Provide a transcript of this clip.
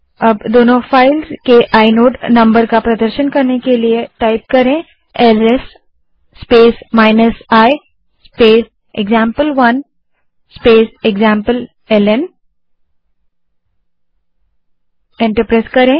अब दोनों फाइल्स के आइनोड नंबर का प्रदर्शन करने के लिए LS space i space example one space example ln command type करें और एंटर दबायें